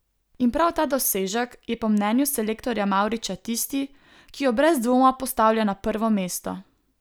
In prav ta dosežek je po mnenju selektorja Mavriča tisti, ki jo brez dvoma postavlja na prvo mesto.